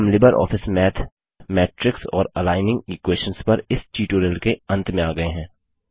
अब हम LibreOffice Math matrix और एलिग्निंग इक्वेशंस पर इस ट्यूटोरियल के अंत में आ गये हैं